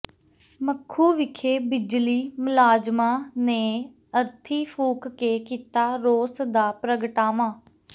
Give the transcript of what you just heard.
ਮਖੂ ਵਿਖੇ ਬਿਜਲੀ ਮੁਲਾਜ਼ਮਾਂ ਨੇ ਅਰਥੀ ਫ਼ੂਕ ਕੇ ਕੀਤਾ ਰੋਸ ਦਾ ਪ੍ਰਗਟਾਵਾ